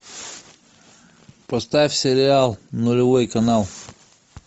поставь сериал нулевой канал